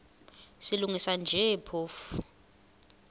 silungisa nje phofu